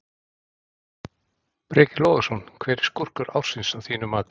Breki Logason: Hver er skúrkur ársins að þínu mati?